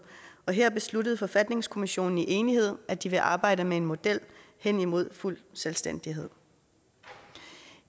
og her besluttede forfatningskommissionen i enighed at de vil arbejde med en model hen imod fuld selvstændighed